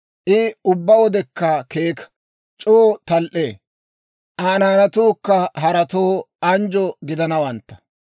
I ubbaa wodekka keeka; c'oo tal"ee. Aa naanatuukka haratoo anjjo gidanawantta.